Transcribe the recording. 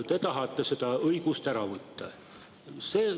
Te tahate seda õigust ära võtta.